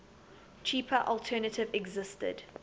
cheaper alternative existed